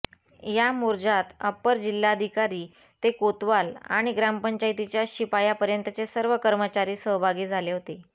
या मोर्जात अप्पर जिल्हाधिकारी ते कोतवाल आणि ग्रामपचांयतीच्या शिपायापर्यंतचे सर्व कर्मचारी सहभगी झाले होते